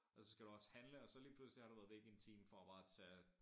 Og så skal du også handle og så lige pludselig har du været væk en time for bare at tage